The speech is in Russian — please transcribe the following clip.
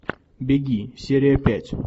беги серия пять